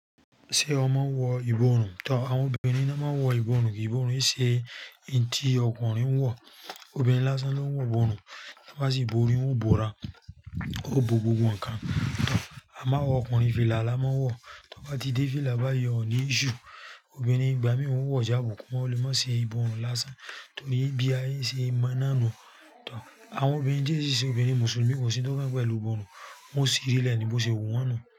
Ṣé ọ mọ wọ ìbọrùn too? Àwọn obìnrin naa máa ń wọ ìbọrùn ìbọrùn i ṣe hin tí ọkùnrin ń wọ̀. Obìnrin lásán ló ń wọ ìbọrùn. Bi won bá si borí, ó bóra, ó bo gbogbo nǹkan. A máa awa ọkùnrin fìlà la máa ń wọ̀. Tí ọ ba ti dé fìlà báyìí, ọ̀ ní iṣsue. Obìnrin ìgbà míì wọ̀n o wo jáàbù kí wọ́n lè má ṣe ìbòrùn lásán. Torí bí aye ṣe mọ́ náà nu toh. Àwọn obìnrin tí ẹ sì ṣe obìnrin Mùsùlùmí kò sí un tó kan won pẹ̀lú ìbọrùn. Wọ́n sìri lè ní bó ṣe wu wọ́n nu.